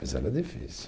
Mas era difícil.